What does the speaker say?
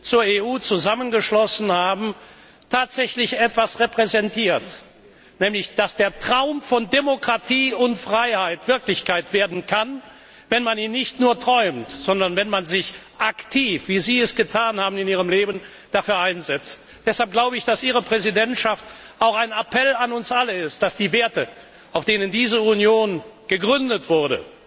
zur EU zusammengeschlossen haben tatsächlich etwas repräsentiert, nämlich, dass der Traum von Demokratie und Freiheit Wirklichkeit werden kann, wenn man ihn nicht nur träumt, sondern wenn man sich aktiv dafür einsetzt, wie Sie es in Ihrem Leben getan haben! Deshalb glaube ich, dass Ihre Präsidentschaft auch ein Appell an uns alle ist und dass die Werte, auf denen diese Union gegründet wurde,